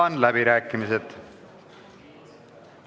Avan läbirääkimised.